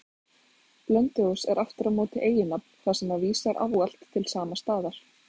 Blönduós er aftur á móti eiginnafn, þar sem það vísar ávallt til sama staðar.